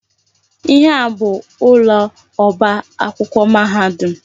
Ihe a bụ ụlọ ọba akwụkwọ mahadum.